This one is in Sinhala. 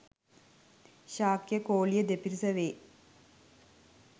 ශාක්‍ය කෝළිය දෙපිරිසවේ.